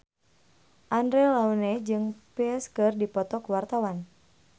Andre Taulany jeung Psy keur dipoto ku wartawan